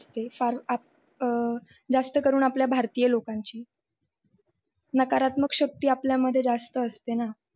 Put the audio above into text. ते फार आपअं जास्त करून आपल्या भारतीय लोकांची नकारात्मक शक्ती आपल्यामध्ये जास्त असते ना